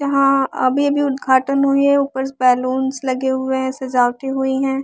यहां अभी अभी उद्घाटन हुई है ऊपर बैलूंस लगे हुए हैं सजावटी हुई हैं।